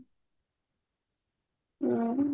ଓ